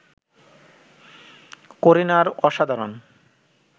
করিনার অসাধারণ